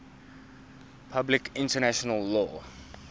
public international law